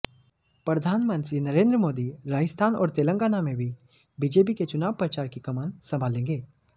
प्रधानमंत्री नरेन्द्र मोदी राजस्थान और तेलंगाना में भी बीजेपी के चुनाव प्रचार की कमान संभालेंगे